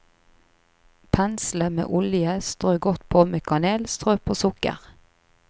Pensle med olje, strø godt på med kanel, strø på sukker.